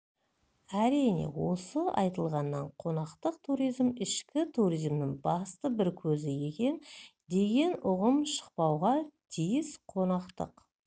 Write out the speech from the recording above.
әрине осы айтылғаннан қонақтық туризм ішкі туризмнің басты бір көзі екен деген ұғым шықпауға тиіс қонақтық